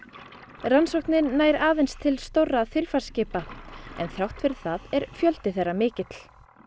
rannsóknin nær aðeins til stórra þilfarsskipa en þrátt fyrir það er fjöldinn mikill